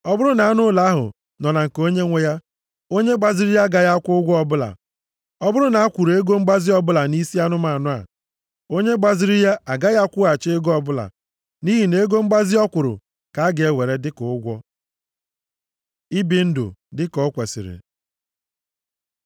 Ọ bụrụ na anụ ụlọ ahụ nọ na nke onyenwe ya, onye gbaziri ya agaghị akwụ ụgwọ ọbụla. Ọ bụrụ na a kwụrụ ego mgbazi ọbụla nʼisi anụmanụ a, onye gbaziri ya agaghị akwụghachi ego ọbụla, nʼihi na ego mgbazi ọ kwuru ka a ga-ewere dịka ụgwọ. Ibi ndụ dị ka o kwesiri